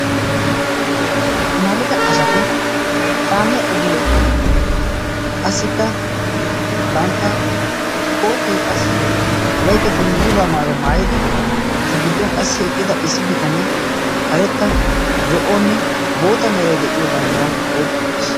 amarida asati kaamiya ogiyan eqqidi qassikka bantta kootiya qassi wolaita dungguuzaa maayuaa maayidi eta gidduwan qassi eqqida issi bitanee karetta zo77onne bootta merai de7iyo banddiraa oikki uttiis.